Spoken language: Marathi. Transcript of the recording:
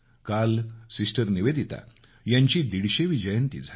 काल सिस्टर निवेदिता यांची दीडशेवी जयंती झाली